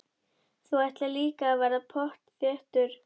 Þú ætlar líka að verða pottþéttur gaur.